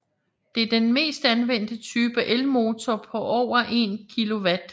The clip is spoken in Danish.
Det er den mest anvendte type elmotor på over 1 kW